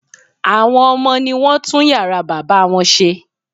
Àwọn ọmọ ní wọ́n tún yàrá bàbá wọn ṣe